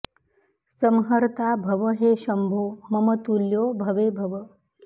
संहर्ता भव हे शम्भो मम तुल्यो भवे भव